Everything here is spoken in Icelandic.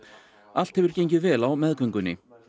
allt hefur gengið vel á meðgöngunni